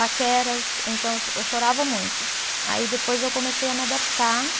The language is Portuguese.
paqueras então eu cho, eu chorava muito aí depois eu comecei a me adaptar